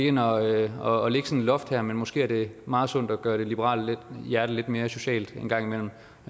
ind og loft her men måske er det meget sundt at gøre det liberale hjerte lidt mere socialt en gang imellem